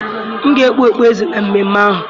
M ga-ekpu okpueze na mmemme ahụ